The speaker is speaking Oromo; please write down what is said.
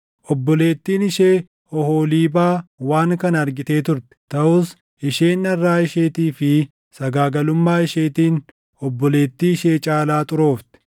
“Obboleettiin ishee Oholiibaa waan kana argitee turte; taʼus isheen dharraa isheetii fi sagaagalummaa isheetiin obboleettii ishee caalaa xuroofte.